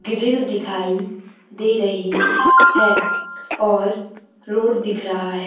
Grill दिखाई दे रही है और रोड दिख रहा है।